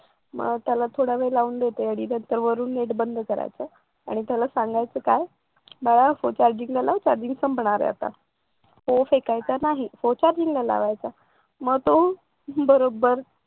मग त्याला थोडा वेळ लावून देते आणि नंतरवरुन नेट बंद करायचं आणि त्याला सांगायचं काय बाळा फोन चार्जिंग चार्जिंग संपणार आहे आता फोन फेकायचा नाही फोन चार्जिंगला लावायचा मग तो बरोबर